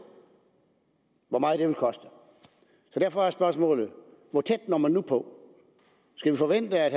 hvor meget det vil koste derfor er spørgsmålet hvor tæt når man nu på skal vi forvente at